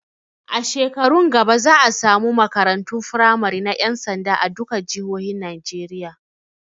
A shekarun gaba za a samu makarantun firamari na ƴan sanda a duka jihohin Najeriya